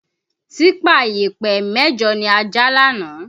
Típà ìyẹ̀pẹ̀ mẹ́jọ ni a já lánàá